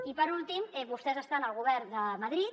i per últim vostès estan al govern de madrid